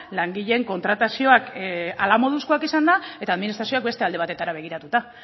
langileen kontratazioak hala moduzkoak izan da eta administrazioak beste alde batetara begiratuta